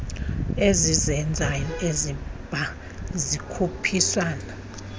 ezizezazo ezibya zikhuphisane